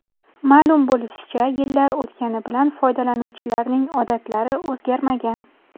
Ma’lum bo‘lishicha, yillar o‘tgani bilan foydalanuvchilarning odatlari o‘zgarmagan.